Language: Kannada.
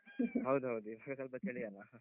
ಹೌದೌದು ಈಗ ಸ್ವಲ್ಪ ಚಳಿ ಅಲ್ಲಾ .